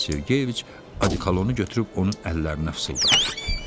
Moisey Sergeyeviç odikolonu götürüb onun əllərinə səpdi.